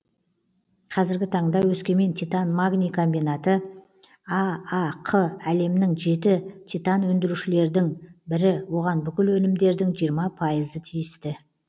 қазіргі таңда өскемен титан магний комбинаты аақ әлемнің жеті титан өндірушілердің бірі оған бүкіл өнімдердің жиырма пайызы тиісті